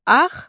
Axşam.